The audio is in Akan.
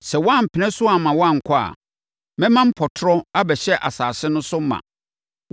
Sɛ woampene so amma wɔankɔ a, mɛma mpɔtorɔ abɛhyɛ asase no so ma.